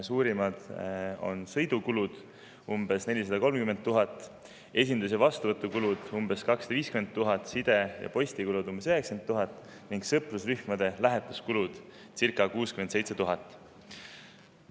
Suurimad on sõidukulud – umbes 430 000 eurot, esindus- ja vastuvõtukulud – umbes 250 000 eurot, side- ja postikulud – umbes 90 000 eurot ning sõprusrühmade lähetuskulud – circa 67 000 eurot.